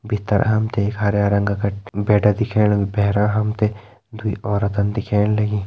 भितर हम ते एक हरयां रंग का क-बेड दिखेण लग्युं भैरा हम ते दुई औरतन दिखेण लगीं।